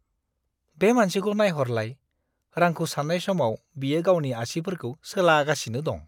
बे मानसिखौ नायहरलाय! रांखौ सान्नाय समाव बियो गावनि आसिफोरखौ सोलागासिनो दं।